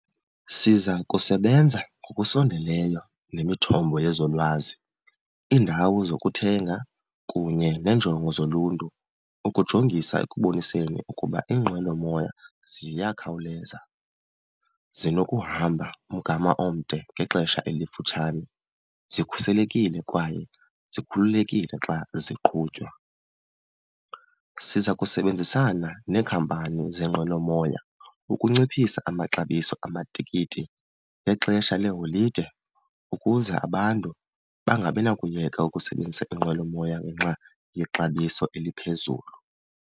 Siza kusebenza ngokusondeleyo nemithombo yezolwazi, iindawo zokuthenga kunye neenjongo zoluntu ukujongisa ekuboniseni ukuba iinqwelomoya ziyakhawuleza, zinokuhamba umgama omde ngexesha elifutshane, zikhuselekile kwaye zikhululekile xa ziqhutywa. Siza kusebenzisana neekhampani zeenqwelomoya ukunciphisa amaxabiso amatikiti ngexesha leeholide ukuze abantu bangabi nakuyeka ukusebenzisa iinqwelomoya ngenxa yexabiso eliphezulu.